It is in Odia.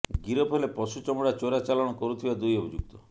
ଗିରଫ ହେଲେ ପଶୁ ଚମଡା ଚୋରା ଚାଲାଣ କରୁଥିବା ଦୁଇ ଅଭିଯୁକ୍ତ